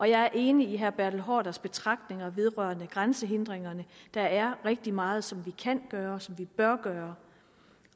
jeg er enig i herre bertel haarders betragtninger vedrørende grænsehindringer der er rigtig meget som vi kan gøre og som vi bør gøre